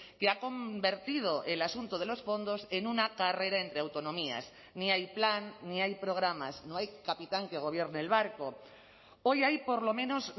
que ha convertido el asunto de los fondos en una carrera entre autonomías ni hay plan ni hay programas no hay capitán que gobierne el barco hoy hay por lo menos